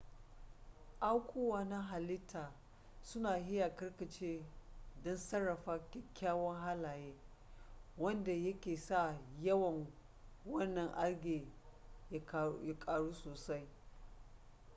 aukuwa na halitta suna iya karkace don sarrafa kyakkyawan halaye wanda yake sa yawan wannan algae ya ƙaru sosai